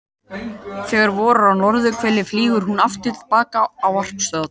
Þegar vorar á norðurhveli flýgur hún aftur til baka á varpstöðvarnar.